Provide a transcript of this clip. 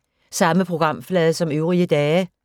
Samme programflade som øvrige dage